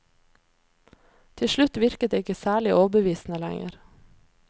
Til slutt virket det ikke særlig overbevisende lenger.